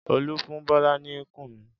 Olú fún Bọ́lá ní kùnú?